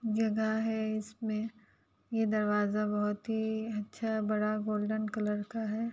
जगह है। इसमें ये दरवाजा बहुत ही अच्छा बड़ा गोल्डन कलर का है।